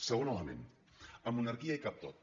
segon element en monarquia hi cap tot